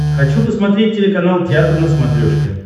хочу посмотреть телеканал театр на смотрешке